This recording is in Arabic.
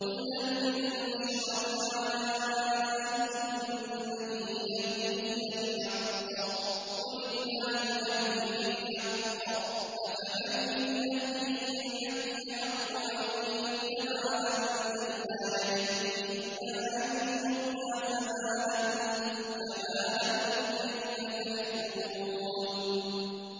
قُلْ هَلْ مِن شُرَكَائِكُم مَّن يَهْدِي إِلَى الْحَقِّ ۚ قُلِ اللَّهُ يَهْدِي لِلْحَقِّ ۗ أَفَمَن يَهْدِي إِلَى الْحَقِّ أَحَقُّ أَن يُتَّبَعَ أَمَّن لَّا يَهِدِّي إِلَّا أَن يُهْدَىٰ ۖ فَمَا لَكُمْ كَيْفَ تَحْكُمُونَ